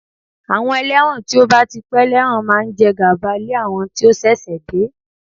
Àwọn ẹlẹ́wọ̀n tí ó bá ti pẹ́ lẹ́wọ̀n máa ń jẹ gàba lé àwọn tí ó ṣẹ̀ṣẹ̀ dé